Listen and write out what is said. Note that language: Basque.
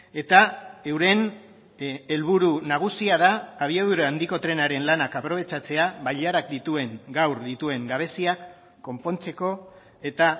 eta euren helburu nagusia da abiadura handiko trenaren lanak aprobetxatzea bailarak dituen gaur dituen gabeziak konpontzeko eta